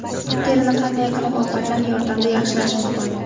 Terini qanday qilib ovqatlar yordamida yaxshilash mumkin?.